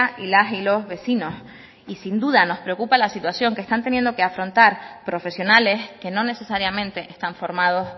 y las y los vecinos y sin duda nos preocupa la situación que están teniendo que afrontan profesionales que no necesariamente están formados